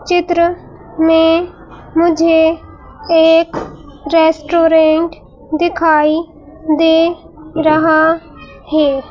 चित्र में मुझे एक रेस्टोरेंट दिखाई दे रहा है।